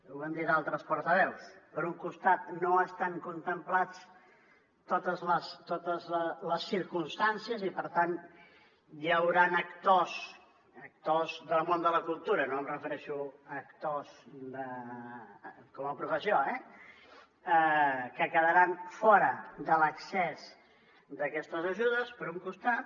ho han dit altres portaveus per un costat no estan contemplades totes les circumstàncies i per tant hi hauran actors del món de la cultura no em refereixo a actors com a professió eh que quedaran fora de l’accés d’aquestes ajudes per un costat